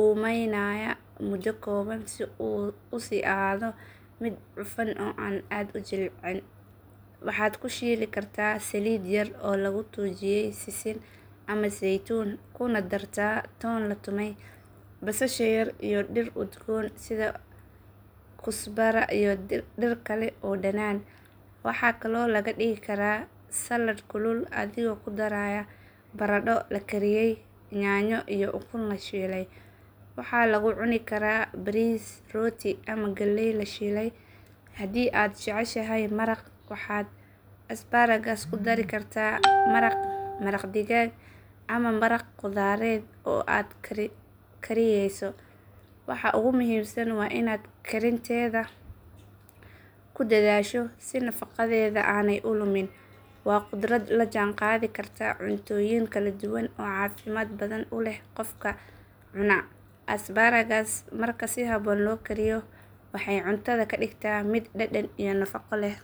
uumaynaya muddo kooban si uu u sii ahaado mid cufan oo aan aad u jilcin. Waxaad ku shiili kartaa saliid yar oo laga tuujiyay sisin ama saytuun kuna dartaa toon la tumay, basasha yar iyo dhir udgoon sida kusbara iyo dhir kale oo dhanaan. Waxaa kaloo laga dhigi karaa salad kulul adigoo ku daraya baradho la kariyay, yaanyo iyo ukun la shiilay. Waxaa lagu cuni karaa bariis, rooti ama galey la shiilay. Haddii aad jeceshahay maraq waxaad asparagus ku dari kartaa maraq digaag ama maraq khudradeed oo aad kariyeyso. Waxa ugu muhiimsan waa inaad karinteeeda ku dadaasho si nafaqadeeda aanay u lumin. Waa khudrad la jaan qaadi karta cuntooyin kala duwan oo caafimaad badan u leh qofka cuna. Asparagus marka si habboon loo kariyo waxay cuntada ka dhigtaa mid dhadhan iyo nafaqo leh.